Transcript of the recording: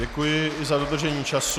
Děkuji i za dodržení času.